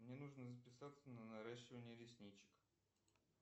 мне нужно записаться на наращивание ресничек